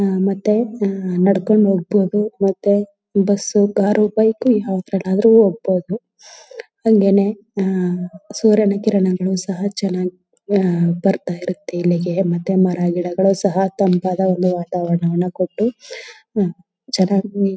ಮತ್ತೆ ನಡ್ಕೊಂಡು ಹೋಗ್ಬಹುದು ಮತ್ತೆ ಬಸ್ ಕಾರ್ ಬೈಕ್ ಯಾವಾದ್ರಳಾದ್ರು ಹೋಗ್ಬಹುದು. ಹಂಗೆನೇ ಸೂರ್ಯನ ಕಿರಣಗಳು ಸಹ ಚನ್ನಾಗ್ ಬರ್ತಾಇರುತ್ತೆ ಇಲ್ಲಿಗೆ ಮತ್ತೆ ಮರ ಗಿಡಗಳು ಸಹ ತಂಪಾದ ಒಂದು ವಾತಾವರಣವನ ಕೊಟ್ಟು ಚನ್ನಾಗಿ--